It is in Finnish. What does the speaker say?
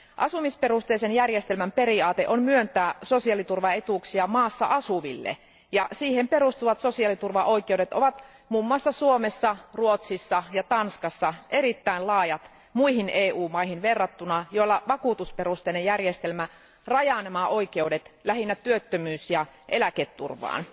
Asumisperusteisen järjestelmän periaate on myöntää sosiaaliturvaetuuksia maassa asuville, ja siihen perustuvat sosiaaliturvaoikeudet ovat muun muassa Suomessa, Ruotsissa ja Tanskassa erittäin laajat muihin EU maihin verrattuna, joilla vakuutusperusteinen järjestelmä rajaa nämä oikeudet lähinnä työttömyys ja eläketurvaan.